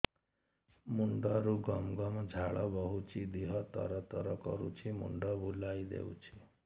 ମୁଣ୍ଡରୁ ଗମ ଗମ ଝାଳ ବହୁଛି ଦିହ ତର ତର କରୁଛି ମୁଣ୍ଡ ବୁଲାଇ ଦେଉଛି